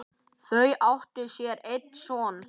Þau áttu sér einn son.